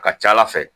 A ka ca ala fɛ